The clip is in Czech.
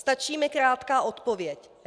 Stačí mi krátká odpověď.